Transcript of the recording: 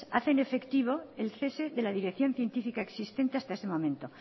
hacen efectivo el cese de la dirección científica existente hasta ese momento